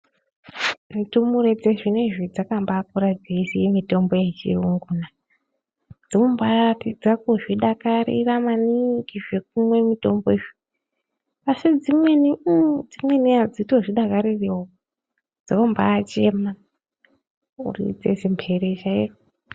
Ndumure dzezvinezvi dzakambakura dzeiziya mitombo yechiyunguna. Dzinombaratidza kuzvidakarira maningi zvekumwe mitombo izvo, asi dzimweni adzitozvidakaririwo dzinombachema kuridze mhere chaiyo.